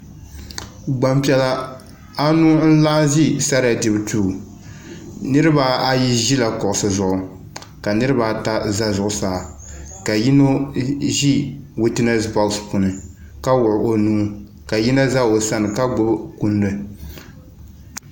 gbanpiɛlla anu n laɣim ʒɛ saraya dibu do niribaayi ʒɛla kuɣisi zuɣ' ka niribaata za zuɣ' saa ka yino ʒɛ witɛnɛsi bɔɣisi zuɣ' ka wuɣ' o nuu ka yino za o sani ka gbabi kunidi